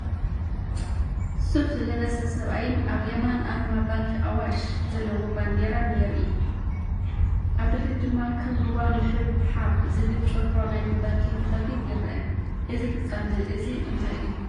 ሱፍ ዝለበሰ ሰብኣይን ኣብ የማን ኣርማ ባንኪ ኣዋሽ ዘለዎ ባንዴራን የርኢ። ኣብ ድሕሪት ድማ "ከም ሩባ ምሕብሓብ" ዝብል ጭርሖ ናይቲ ባንክ ብኸፊል ይርአ። እዚ ፍጻመ እዚ እንታይ እዩ?